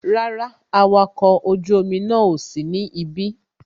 Rárá, awakọ̀ ojú omi náà ò sí ní ibí